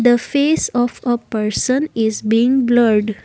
The face of a person is been blurred.